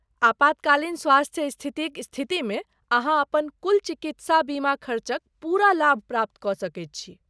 आपातकालीन स्वास्थ्य स्थितिक स्थितिमे अहाँ अपन कुल चिकित्साबीमा खर्चक पूरा लाभ प्राप्त कऽ सकैत छी।